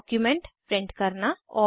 document print करना